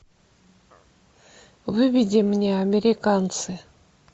выведи мне американцы